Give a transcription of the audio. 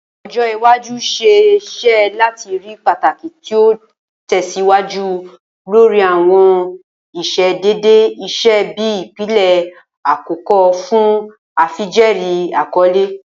ojo iwaju ṣee ṣe lati rii pataki ti o tẹsiwaju lori awọn iṣedede iṣe bi ipilẹ akọkọ fun afijẹẹri akọle.